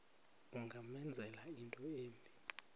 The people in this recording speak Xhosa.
ungamenzela into embi